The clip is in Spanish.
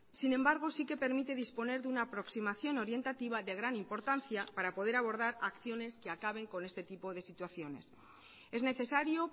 sí que permite disponer de una aproximación orientativa de gran importancia para poder abordar acciones que acaben con este tipo de situaciones es necesario